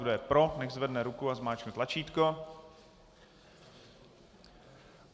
Kdo je pro, nechť zvedne ruku a zmáčkne tlačítko.